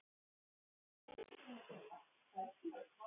Hann fer til Kidda og Ragga.